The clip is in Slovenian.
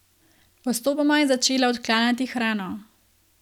Postopoma je začela odklanjati hrano.